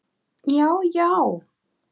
Já já!